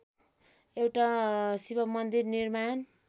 एउटा शिवमन्दिर निर्माण